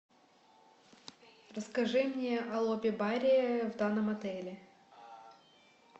расскажи мне о лобби баре в данном отеле